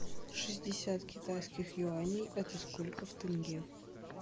шестьдесят китайских юаней это сколько в тенге